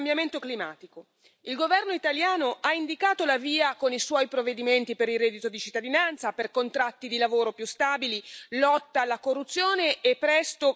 Il governo italiano ha indicato la via con i suoi provvedimenti per il reddito di cittadinanza, per contratti di lavoro più stabili, lotta alla corruzione e presto per il salario minimo.